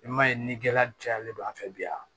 I m'a ye ni gɛlɛya cayalen don an fɛ bi yan